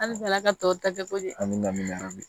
Halisa ala ka tɔw ta kɛ ko di an bɛ